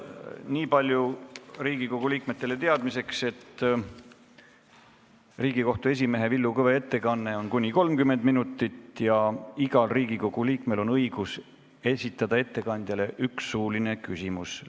Niipalju Riigikogu liikmetele teadmiseks, et Riigikohtu esimehe Villu Kõve ettekanne kestab kuni 30 minutit ja igal Riigikogu liikmel on õigus esitada ettekandjale üks suuline küsimus.